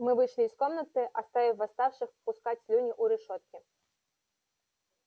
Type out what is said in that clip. мы вышли из комнаты оставив восставших пускать слюни у решётки